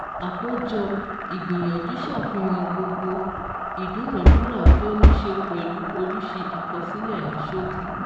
Àkójọ ìgbìyànjú ṣàfihàn gbogbo ìdúnàádúrà tó ní ṣe pẹ̀lú oríṣi àkọsílẹ̀ ní ṣókí.